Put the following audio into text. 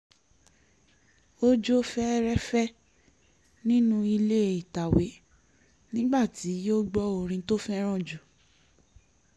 ó jó fẹ́rẹ́fẹ́ nínú ilé ìtàwé nígbà tí ó gbọ́ orin tó fẹ́ràn jù